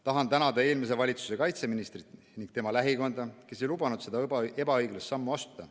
Tahan tänada eelmise valitsuse kaitseministrit ning tema lähikonda, kes ei lubanud seda ebaõiglast sammu astuda.